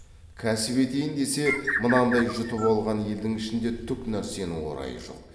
кәсіп етейін десе мынандай жұтап қалған елдің ішінде түк нәрсенің орайы жоқ